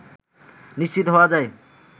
নিশ্চিত হওয়া যায়